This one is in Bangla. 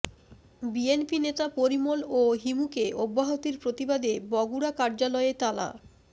বিএনপি নেতা পরিমল ও হিমুকে অব্যাহতির প্রতিবাদে বগুড়া কার্যালয়ে তালা